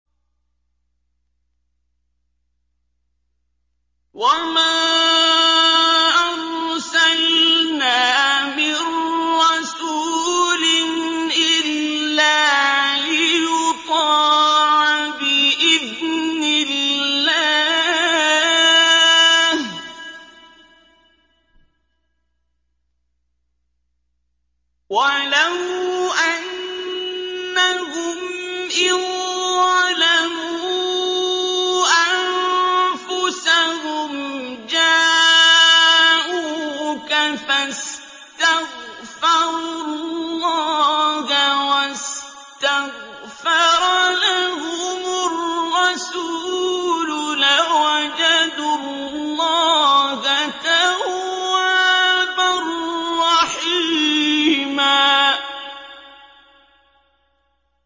وَمَا أَرْسَلْنَا مِن رَّسُولٍ إِلَّا لِيُطَاعَ بِإِذْنِ اللَّهِ ۚ وَلَوْ أَنَّهُمْ إِذ ظَّلَمُوا أَنفُسَهُمْ جَاءُوكَ فَاسْتَغْفَرُوا اللَّهَ وَاسْتَغْفَرَ لَهُمُ الرَّسُولُ لَوَجَدُوا اللَّهَ تَوَّابًا رَّحِيمًا